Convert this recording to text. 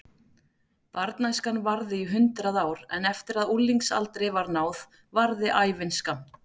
Barnæskan varði í hundrað ár en eftir að unglingsaldri var náð varði ævin skammt.